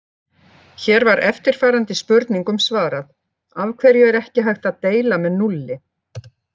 Hér var eftirfarandi spurningum svarað: Af hverju er ekki hægt að deila með núlli?